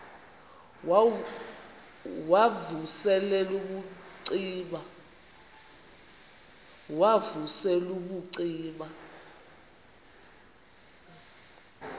wav usel ubucima